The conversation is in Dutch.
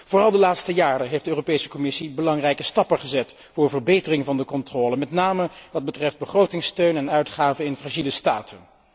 Vooral de laatste jaren heeft de Europese Commissie belangrijke stappen gezet voor verbetering van de controle, met name wat betreft begrotingssteun en uitgaven in fragiele staten.